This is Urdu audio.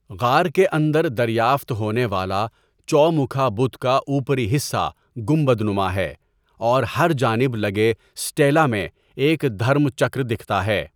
غار کے اندر دریافت ہونے والا چوموکھا بت کا اوپری حصہ گنبد نما ہے اور ہر جانب لگے سٹیلا میں ایک دھرم چکر دکھتا ہے۔